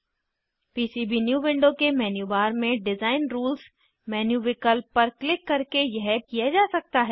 PCB new window के menu bar में design rules menu विकल्प पर क्लिक करके यह किया जा सकता है